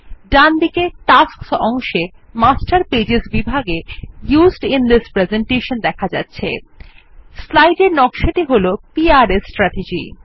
ডানদিকে টাস্কস অংশে master pages বিভাগে ইউজড আইএন থিস Presentation এ দেখা যাচ্ছে স্লাইডের নকশাটি হল পিআরএস স্ট্রাটেজি